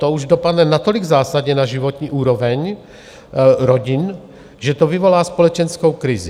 To už dopadne natolik zásadně na životní úroveň rodin, že to vyvolá společenskou krizi.